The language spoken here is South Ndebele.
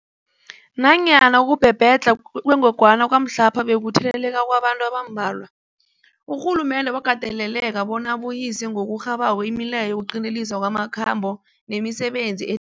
Nanyana ukubhebhedlha kwengogwana kwamhlapha bekukutheleleka kwabantu abambalwa, urhulumende wakateleleka bona abuyise ngokurhabako imileyo yokuqinteliswa kwamakhambo nemisebenzi e